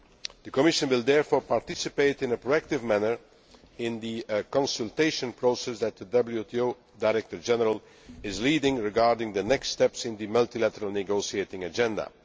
The Commission will therefore participate in a proactive manner in the consultation process that the WTO Director General is leading regarding the next steps in the multilateral negotiating agenda.